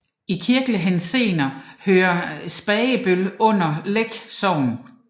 I kirkelig henseende hører Spragebøl under Læk Sogn